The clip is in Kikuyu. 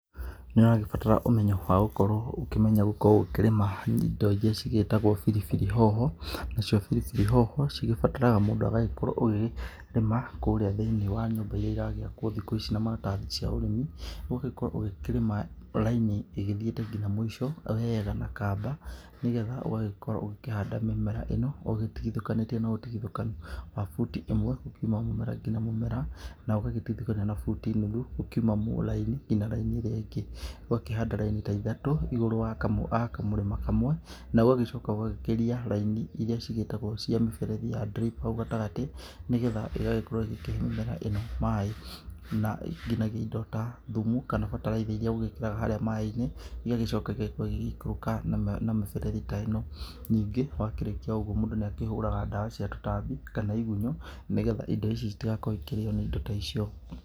Nĩũragĩbatara ũmenyo wa gũkorwo ũkĩmenya gũkorwo ũkĩrĩma indo iria cigĩtagwo biribiri hoho, nacio biribiri hoho cigĩbataraga mũndũ agagĩkorwo ũgĩkĩrĩma kũrĩa thĩiniĩ wa nyũmba irĩa iragĩakwo thikũ ici na maratathi cia ũrĩmi, ũgakorwo ũgĩkĩrĩma raini ĩgĩthiĩte nginya mũico wega na kaba, nĩgetha ũgagĩkorwo ũgĩkĩhanda mĩmera ĩno, ũgĩtigithũkanĩtie na ũtigithũkanu wa buti imwe kuma mũmera nginya mũmera, na ũgagĩtigithũkania na buti nuthu ũkiuma mũraini nginya ĩrĩa ĩngĩ, ũgakĩhanda raini ta ithatũ igũrũ wa kamũ wa kamũrĩma kamwe, na ũgagĩcoka ũgagĩkĩria raini irĩa cigĩtagwo cia mĩberethi ya drip hau gatagatĩ, nĩgetha ĩgagĩkorwo ĩkĩhe mĩmera ĩno maĩ na nginyagia indo ta thumu kana bataraitha irĩa ũgĩkĩraga harĩa maĩ-inĩ, igagĩcioka igagĩkorwo igikũrũka na na mĩberethi ta ĩno, ningĩ wakĩrĩkia ũguo mũndũ nĩakĩhũraga dawa cia tũtambi kana igunyũ, nĩgetha indo ici citigagĩkorwo ikĩrĩo nĩ indo ta icio.